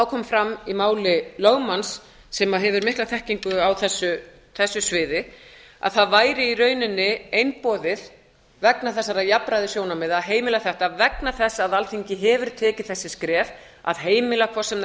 kom fram í máli lögmanns sem hefur mikla þekkingu á þessu sviði að það væri í raun einboðið vegna þessara jafnræðissjónarmiða að heimila þetta vegna þess að alþingi hefur tekið þau skref að heimila hvort sem það